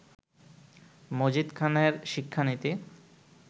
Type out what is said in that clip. মজিদ খানের শিক্ষানীতি